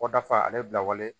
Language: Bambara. Kɔ dafa ale bilawale